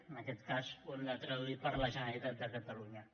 en aquest cas ho hem de traduir per la generalitat de catalunya